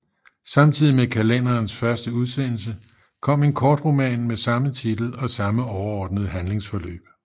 Samtidig med kalenderens første udsendelse kom en kortroman med samme titel og samme overordnede handlingsforløb